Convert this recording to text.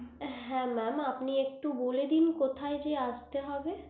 হ্যা mam আপনি একটু বলে দিন কথা দিয়ে আসতে হবে